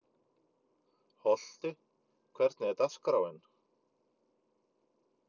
Holti, hvernig er dagskráin?